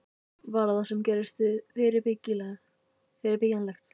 Var það sem gerðist fyrirbyggjanlegt?